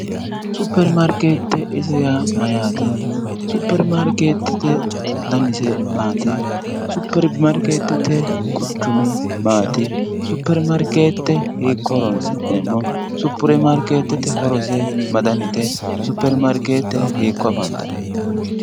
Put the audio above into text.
Superimarkeette ise yaa mayyaate? Superimarkeettete danise maati? Superimarkeettete quchumi maati? Superimarkeette hiikko horonsi'neemmo? Superimarkeettete horose ma danite? Superimarkeette hiikko afantanno?